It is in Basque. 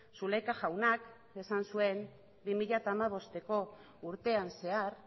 zulaika jaunak esan zuen bi mila hamabosteko urtean zehar